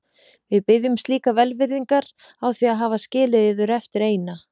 Við biðjumst líka velvirðingar á því að hafa skilið yður eftir eina.